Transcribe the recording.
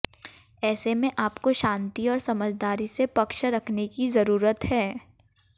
ऐसे में आपको शांति और समझदारी से पक्ष रखने की जरूरत है